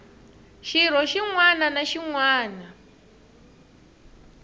xirho xin wana na xin